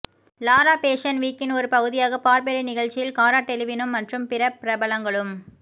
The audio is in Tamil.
லாரா பேஷன் வீக்கின் ஒரு பகுதியாக பார்பெர்ரி நிகழ்ச்சியில் காரா டெலிவினும் மற்றும் பிற பிரபலங்களும்